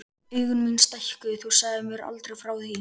Augu mín stækkuðu: Þú sagðir mér aldrei frá því!